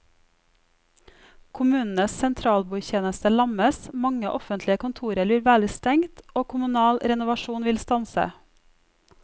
Kommunenes sentralbordtjeneste lammes, mange offentlige kontorer vil være stengt og kommunal renovasjon vil stanse.